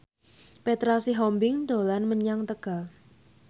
Petra Sihombing dolan menyang Tegal